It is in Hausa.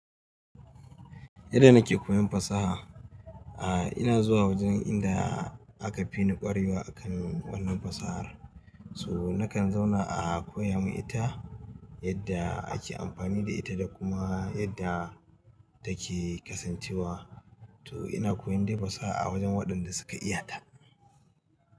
Yadda nake koyon fasaha, a ina zuwa wajen inda aka fi ni ƙwarewa a kan wannan fasahar. To nakan zauna a koya min ita yadda ake amfani da ita da kuma yadda take kasancewa. To ina koyon dai fasaha a wajen waɗanda suka iyata.